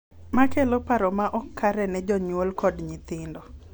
Ma kelo paro ma ok kare ne jonyuol kod nyithindo.